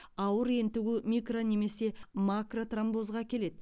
ауыр ентігу микро немесе макротромбозға әкеледі